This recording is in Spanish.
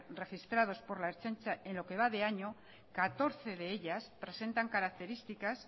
registrados por la ertzaintza en lo que va de año catorce de ellas presentan características